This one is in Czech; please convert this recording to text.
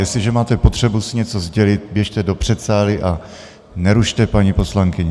Jestliže máte potřebu si něco sdělit, běžte do předsálí a nerušte paní poslankyni.